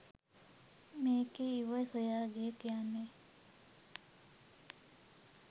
මේකෙ "ඉව" සොයා ගියා කියන්නෙ